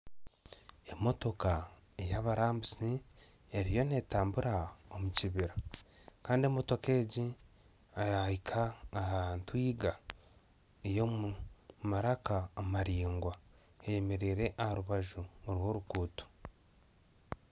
Emotoka eyabarambuzi eriyo netambura omukibira Kandi emotoka egi yahika aha ntwiga eyomu maraka amaraingwa eyemereire aharubaju rworuguuto